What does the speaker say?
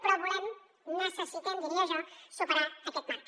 però volem necessitem diria jo superar aquest marc